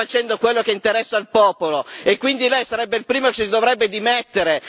non state facendo quello che interessa al popolo e, quindi, lei sarebbe il primo che si dovrebbe dimettere.